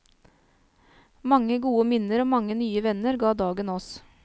Mange gode minner og mange nye venner ga dagen oss.